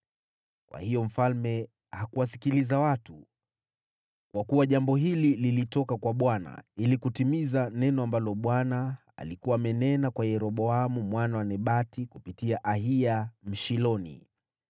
Kwa hiyo mfalme hakuwasikiliza watu, kwa kuwa jambo hili lilitoka kwa Bwana , ili kutimiza neno ambalo Bwana alikuwa amenena kwa Yeroboamu mwana wa Nebati kupitia Ahiya Mshiloni.